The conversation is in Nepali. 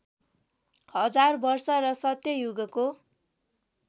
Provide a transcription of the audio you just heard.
हजार वर्ष र सत्ययुगको